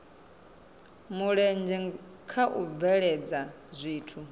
mulenzhe kha u bveledza zwithu